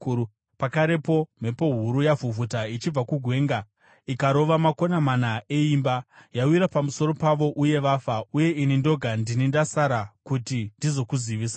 pakarepo mhepo huru yavhuvhuta ichibva kugwenga ikarova makona mana eimba. Yawira pamusoro pavo uye vafa, uye ini ndoga ndini ndasara kuti ndizokuzivisai!”